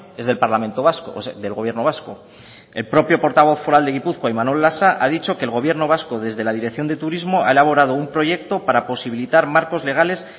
es del parlamento vasco del gobierno vasco el propio portavoz foral de gipuzkoa imanol lasa ha dicho que el gobierno vasco desde la dirección de turismo ha elaborado un proyecto para posibilitar marcos legales